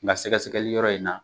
Nka se sɛgɛsɛgɛli yɔrɔ in na